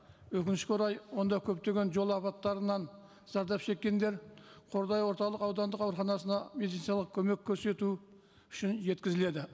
өкінішке орай онда көптеген жол апаттарынан зардап шеккендер қордай орталық аудандық ауруханасына медициналық көмек көрсету үшін жеткізіледі